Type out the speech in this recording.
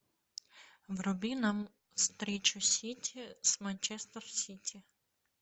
вруби нам встречу сити с манчестер сити